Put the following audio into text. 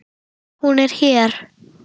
Hún er hér.